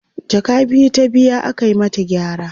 jaka biyu ta biya aka mata gyara